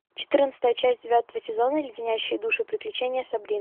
четырнадцатая часть девятого сезона леденящие душу приключения сабрины